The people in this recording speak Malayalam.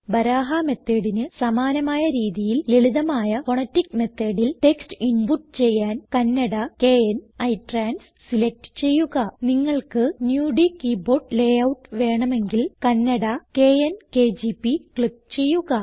ബരഹ methodന് സമാനമായ രീതിയിൽ ലളിതമായ ഫോണാറ്റിക് methodൽ ടെക്സ്റ്റ് ഇൻപുട്ട് ചെയ്യാൻ കണ്ണട kn ഇട്രാൻസ് സിലക്റ്റ് ചെയ്യുക നിങ്ങൾക്ക് നുടി കീബോർഡ് ലേയൂട്ട് വേണമെങ്കിൽ കണ്ണട - കെഎൻ കെജിപി ക്ലിക്ക് ചെയ്യുക